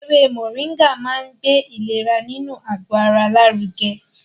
Ewé Mọ̀ríngà máa ń gbé ìlera inú àgbò ara lárugẹ